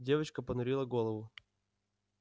девочка понурила голову